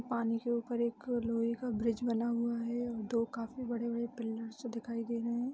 पानी के ऊपर एक लोहे का ब्रिज बना हुआ है और दो काफी बड़े-बड़े पिलरस भी दिखाई दे रहें हैं।